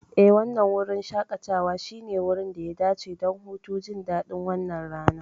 Eh, wannan wurin shaƙatawa shine wurin da ya dace don hutu, jin daɗin wannan rana.